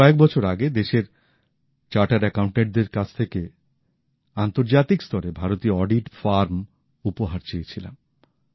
আমি কয়েক বছর আগে দেশের চার্টার্ড অ্যাকাউন্টটেন্টদের কাছ থেকে আন্তর্জাতিক স্তরের ভারতীয় অডিট ফার্ম উপহার চেয়েছিলাম